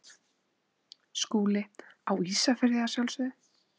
SKÚLI: Á Ísafirði að sjálfsögðu.